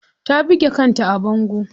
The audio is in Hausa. Ta buge kanta a bango.